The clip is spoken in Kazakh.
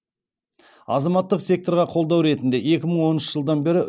азаматтық секторға қолдау ретінде екі мың оныншы жылдан бері